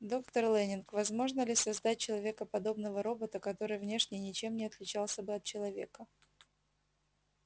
доктор лэннинг возможно ли создать человекоподобного робота который внешне ничем не отличался бы от человека